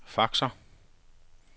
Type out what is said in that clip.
faxer